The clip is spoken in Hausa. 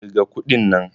kirga kuɗin nan!